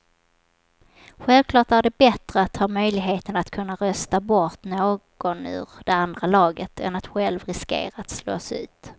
Självklart är det bättre att ha möjligheten att kunna rösta bort någon ur det andra laget än att själv riskera att slås ut.